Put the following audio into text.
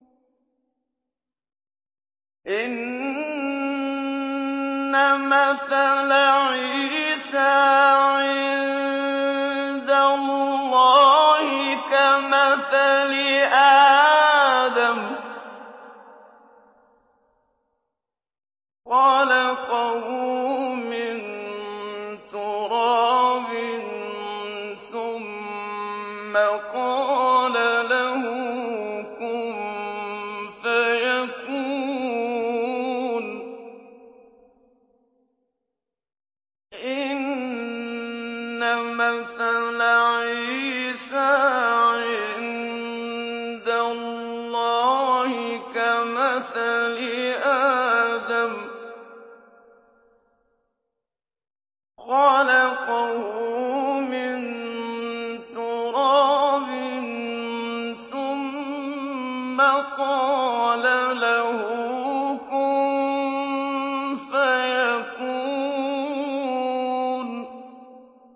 إِنَّ مَثَلَ عِيسَىٰ عِندَ اللَّهِ كَمَثَلِ آدَمَ ۖ خَلَقَهُ مِن تُرَابٍ ثُمَّ قَالَ لَهُ كُن فَيَكُونُ